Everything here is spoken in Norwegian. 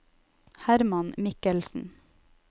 Herman Mikkelsen